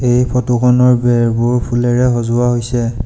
এই ফটো খনৰ বেৰবোৰ ফুলেৰে সজোৱা হৈছে।